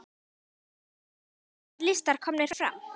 Oddur: Þá verða allir listar komnir fram?